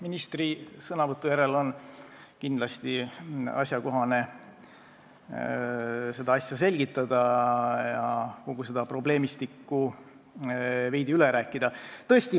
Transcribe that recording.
Ministri sõnavõtu järel on kindlasti sobiv asja selgitada ja kogu seda probleemistikku veidi üle rääkida.